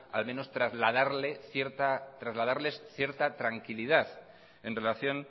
al menos trasladarles cierta tranquilidad en relación